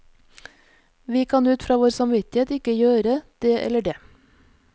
Vi kan ut fra vår samvittighet ikke gjøre det eller det.